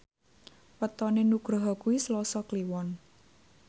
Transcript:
wetone Nugroho kuwi Selasa Kliwon